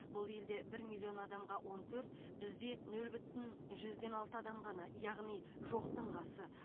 бұл елде бір миллион адамға он төрт бізде нөл бүтін жүзден алты адам ғана яғни жоқтың қасы